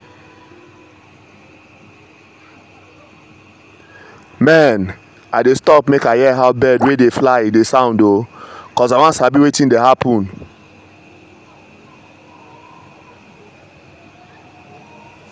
mehn i dey stop make i hear how bird wey dey fly dey sound o cos i wan sabi wetin dey happen.